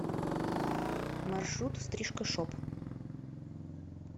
маршрут стрижка шоп